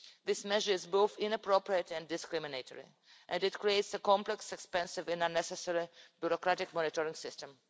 This measure is both inappropriate and discriminatory, and it creates a complex, expensive and unnecessary bureaucratic monitoring system.